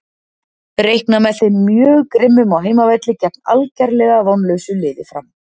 Reikna með þeim mjög grimmum á heimavelli gegn algerlega vonlausu liði Fram.